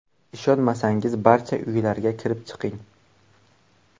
Ishonmasangiz barcha uylarga kirib chiqing.